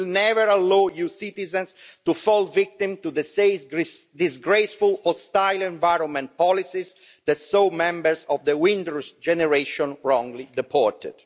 We will never allow EU citizens to fall victim to the same disgraceful hostile-environment policies that saw members of the Windrush generation wrongly deported.